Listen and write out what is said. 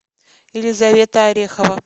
елизавета орехова